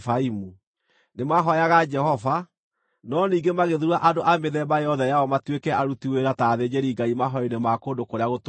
Nĩmahooyaga Jehova, no ningĩ magĩthuura andũ a mĩthemba yothe yao matuĩke aruti wĩra ta athĩnjĩri-Ngai mahooero-inĩ ma kũndũ kũrĩa gũtũũgĩru.